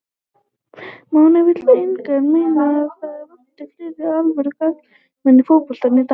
Máni vill einnig meina að það vanti fleiri alvöru karaktera í fótboltann í dag.